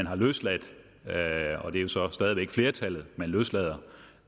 har løsladt og det er så stadig væk flertallet man løslader